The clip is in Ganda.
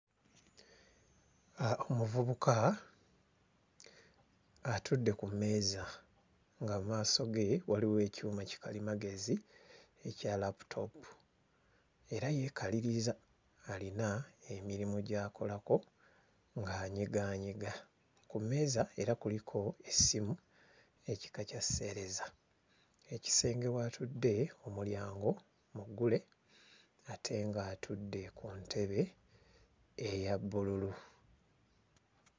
Omuvubuka atudde ku mmeeza nga mu maaso ge waliwo ekyuma kikalimagezi ekya laaputoopu era yeekaliriza alina emirimu gy'akolako ng'anyigaanyiga. Ku mmeeza era kuliko essimu ekika kya sseereza, ekisenge w'atudde omulyango muggule ate ng'atudde ku ntebe eya bbululu.